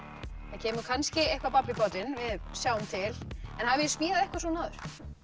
það kemur kannski eitthvað babb í bátinn við sjáum til en hafið þið smíðað eitthvað svona áður